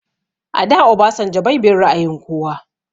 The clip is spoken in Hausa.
A da Obasanjo bai bin ra'ayin kowa